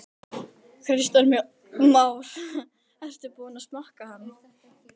Kristján Már: En ertu búinn að smakka hann?